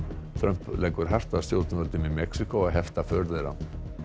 Trump leggur hart að stjórnvöldum í Mexíkó að hefta för þeirra